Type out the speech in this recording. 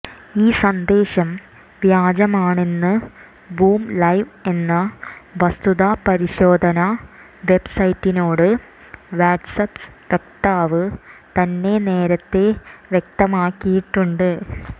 ഈ സന്ദേശം വ്യാജമാണെന്ന് ബൂംലൈവ് എന്ന വസ്തുതാ പരിശോധനാ വെബ്സൈറ്റിനോട് വാട്ട്സാപ്പ് വക്താവ് തന്നെ നേരത്തേ വ്യക്തമാക്കിയിട്ടുണ്ട്